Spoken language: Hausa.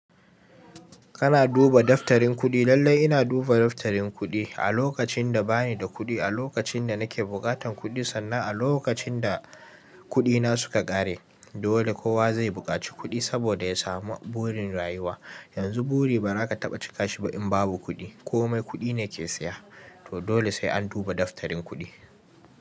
Kana duba daftarin kuɗi? Lallai ina duba daftarin kuɗi, a lokacin da banida kuɗi, a lokacin da nake buƙatan kuɗi sannan a lokacin da kuɗina suka ƙare. Dole kowa zai buƙaci kuɗi saboda ya samu burin rayuwa. Yanzu bori ba za ka taɓa cika shi ba in babu kuɗi. Komai kuɗine ke saya. To dole sai an duba daftarin kuɗi.